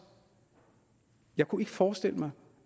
jeg kunne ikke forestille mig